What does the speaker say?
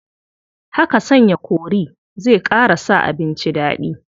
Haka sanya kori zai ƙara sa abinci daɗi.